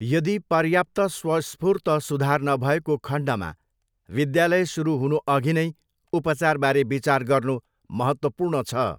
यदि पर्याप्त स्वस्फूर्त सुधार नभएको खण्डमा विद्यालय सुरु हुनुअघि नै उपचारबारे विचार गर्नु महत्त्वपूर्ण छ।